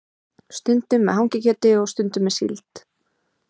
Stundum með hangikjöti og stundum með síld.